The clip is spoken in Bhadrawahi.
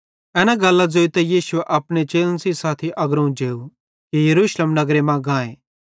एना गल्लां ज़ोइतां यीशु अपने चेलन सेइं साथी अग्रोवं जेव कि यरूशलेम नगरे मां गाए